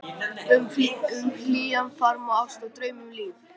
Um hlýjan faðm og ást og draum, um líf